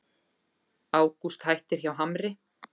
Ágúst hættir hjá Hamri